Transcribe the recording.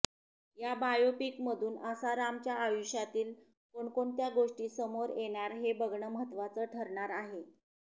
या बायोपिकमधून आसारामच्या आयुष्यातील कोणकोणत्या गोष्टी समोर येणार हे बघणं महत्त्वाच ठरणार आहे